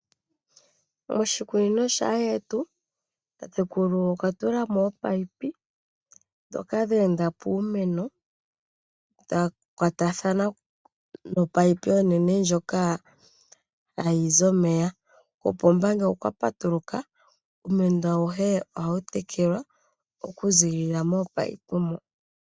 Moshikunino shaandjetu tatekulu okwa tula mo ominino, dhoka dheenda puumeno dhakwatathana nomunino omunene ngoka hagu zi omeya. Kopomba ngele okwa patuluka iimeno ayihe ohayi tekelwa oku zilila mominino moka.